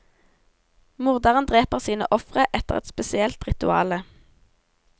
Morderen dreper sine ofre etter et spesielt rituale.